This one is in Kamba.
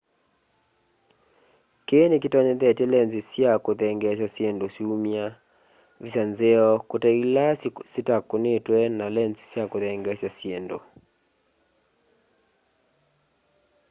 kii ni kitonyethyete lenzi sya kuthengeesya syindũ syũmya visa nzeo kũte ila syitakunitwe na lenzi ya kuthengeesya syindu